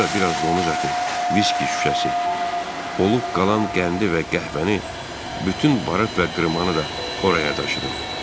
Sonra biraz donuz əti, viski şüşəsi olub qalan qəndi və qəhvəni, bütün barıt və qırmanı da oraya daşıdım.